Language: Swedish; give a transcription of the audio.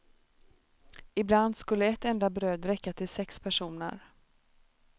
Ibland skulle ett enda bröd räcka till sex personer.